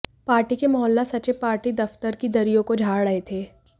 party के मोहल्ला सचिव पार्टी दफ्तर की दरियों को झाड़ रहे थे